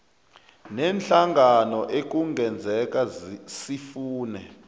neenhlangano ekungenzeka sifune